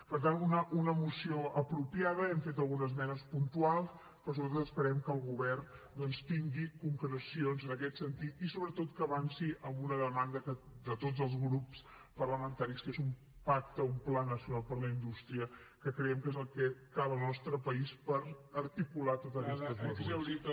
per tant una moció apropiada hi hem fet alguna esmena puntual però sobretot esperem que el govern doncs tingui concrecions en aquest sentit i sobretot que avanci amb una demanda de tots els grups parlamentaris que és un pacte un pla nacional per a la indústria que creiem que és el que a cal al nostre país per articular tot aquestes mesures